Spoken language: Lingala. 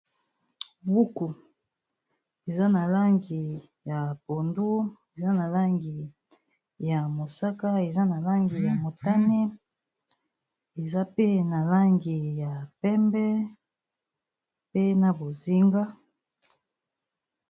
buku eza na langi ya pondu eza na langi ya mosaka eza na langi ya motane eza pe na langi ya pembe pe na bozinga.